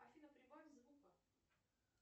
афина прибавь звука